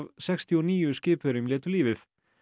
sextíu og níu skipverjum létu lífið